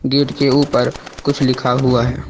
Gate के ऊपर कुछ लिखा हुआ है।